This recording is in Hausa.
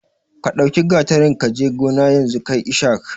Ka ɗau gatarin kaji gona yanzu kai ishak